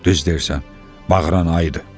Düz deyirsən, bağıran ayıdır.